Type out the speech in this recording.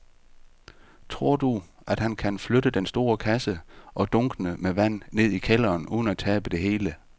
Tror du, at han kan flytte den store kasse og dunkene med vand ned i kælderen uden at tabe det hele?